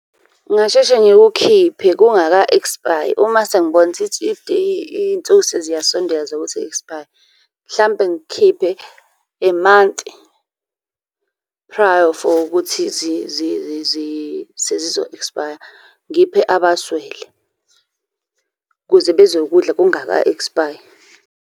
Ngingasheshe ngikukhiphe kungaka ekspayi. Uma sengibona kuthi iy'nsuku seziyasondela zokuthi i-ekspaye, mhlampe ngikukhiphe a month prior for ukuthi sezizo-ekspaya ngiphe abaswele, ukuze bezokudla kungaka ekspayi.